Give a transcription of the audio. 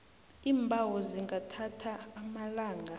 iimbawo zingathatha amalanga